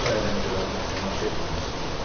uşaq əyləncələrinə tamaşa etmək istəyirdi.